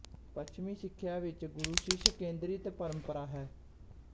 ਪੱਛਮੀ ਸਿੱਖਿਆ ਵਿੱਚ ਗੁਰੂ ਸ਼ਿਸ਼ ਕੇਂਦਰਿਤ ਪਰੰਪਰਾ ਹੈ